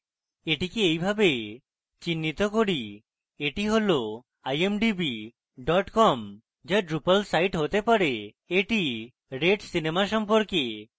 এটিকে এইভাবে চিত্রিত করি এটি হল imdb com যা drupal site হতে পারে এটি red সিনেমা সম্পর্কে